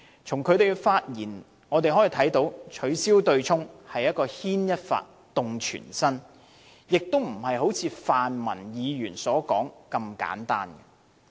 他的發言指出，取消對沖機制是牽一髮動全身，並非好像泛民議員所說那般簡單。